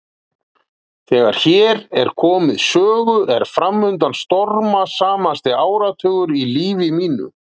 Þegar hér er komið sögu er framundan stormasamasti áratugur í lífi mínu.